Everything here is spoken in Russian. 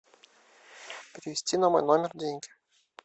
перевести на мой номер деньги